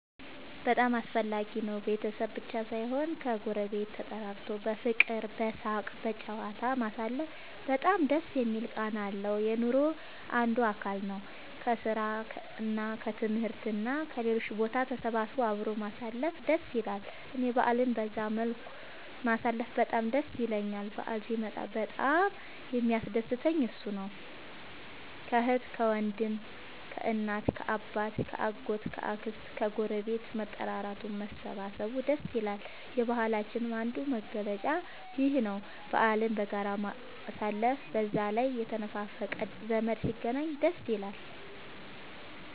በጣም አስፈላጊ ነው ቤተሰብ ብቻ ሳይሆን ከ ጎረቤት ተጠራርቶ በፍቅር በሳቅ በጨዋታ ማሳለፉ በጣም ደስ የሚል ቃና አለው። የኑሮ አንዱ አካል ነው። ከስራ እና ከትምህርት እና ከሌሎችም ቦታ ተሰብስቦ አብሮ ማሳለፍ ደስ ይላል እኔ በአልን በዛ መልኩ ማሳለፍ በጣም ደስ ይለኛል በአል ሲመጣ በጣም የሚያስደስተኝ እሱ ነው። ከአህት ከወንድም ከእናት ከአባት ከ አጎት ከ አክስት ከግረቤት መጠራራቱ መሰባሰብ ደስ ይላል። የባህላችንም አንዱ መገለጫ ይኽ ነው በአልን በጋራ ማሳለፍ። በዛ ላይ የተነፋፈቀ ዘመድ ሲገናኝ ደስ ይላል